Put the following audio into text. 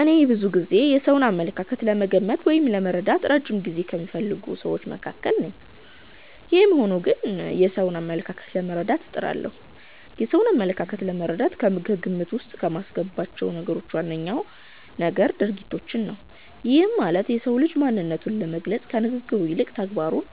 እኔ ብዙ ጊዜ የሰውን አመለካከት ለመገመት ወይም ለመረዳት እረጅም ጊዜ ከሚፈልጉ ስዎች መካከል ነኝ። ይህም ሆኖ ግን የሰዎችን አመለካከት ለመረዳት እጥራለሁ። የሰውን አመለካከት ለመረዳት ከግምት ዉስጥ ከማስገባቸው ነገሮች ዋነኛው ነገር ድርጊቶችን ነው። ይህም ማለት የሰው ልጅ ማንነቱን ለመግለፅ ከንግግሩ ይልቅ ተግባሩን